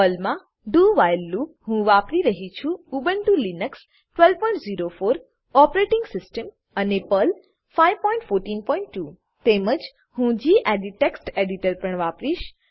પર્લમા do while loop હું વાપરી રહ્યી છું ઉબુન્ટુ લીનક્સ 1204 ઓપરેટીંગ સીસ્ટમ અને પર્લ 5142 તેમજ હું ગેડિટ ટેક્સ્ટ એડીટર પણ વાપરીશ